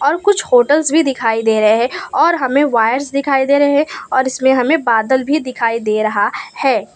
और कुछ होटल्स भी दिखाई दे रहे और हमे वायर्स दिखाई दे रहे और इसमें हमे बादल भी दिखाई दे रहा है।